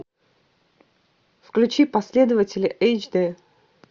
включи последователи эйч дэ